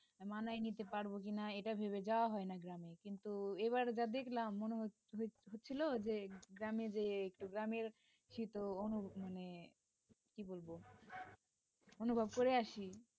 মানায় নিতে পারবো কিনা এটা ভেবে যাওয়া হয় না গ্রামে তুই এবার যা দেখলাম মনে হচ্ছে হচ্ছিল যে গ্রামে যেয়ে একটু গ্রামের শীত ও অনুভব মানে কি বলবো অনুভব করে আসি।